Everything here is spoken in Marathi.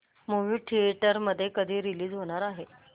मूवी थिएटर मध्ये कधी रीलीज होणार आहे